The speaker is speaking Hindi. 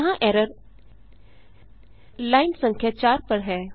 यहाँ एरर लाइन संख्या 4 पर है